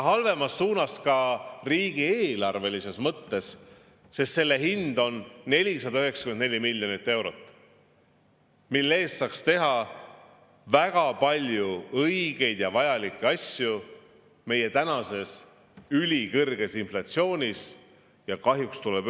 Halvemas suunas ka riigieelarve mõttes, sest selle hind on 494 miljonit eurot, mille eest saaks teha väga palju õigeid ja vajalikke asju praeguse ülikõrge inflatsiooni.